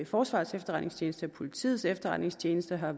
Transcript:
forsvarets efterretningstjeneste og politiets efterretningstjeneste har